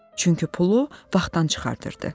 Çünki pulu vaxtdan çıxarırdı.